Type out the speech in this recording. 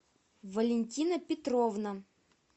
валентина петровна